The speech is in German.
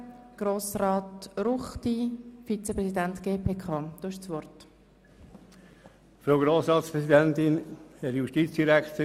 Der Vizepräsident der GPK, Grossrat Ruchti, hat als Erster das Wort.